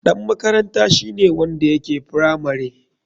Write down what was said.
Ɗan makaranta shine wanda yake firamare.